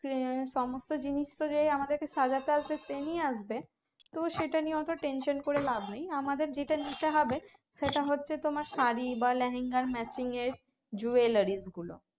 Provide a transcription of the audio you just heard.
হ্যাঁ সমস্ত জিনিসতো যেই আমাদেরকে সাজাতে আসবে সে নিয়ে আসবে তো সেটা নিয়ে অত tension করে লাভ নেই আমাদের যেটা নিতে হবে সেটা হচ্ছে তোমার শাড়ি বা লেহেঙ্গা matching এর jewellery গুলো